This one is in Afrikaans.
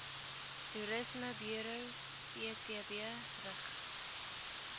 toerismeburo ptb rig